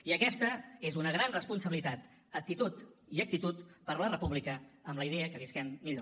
i aquesta és una gran responsabilitat aptitud i actitud per la república amb la idea que visquem millor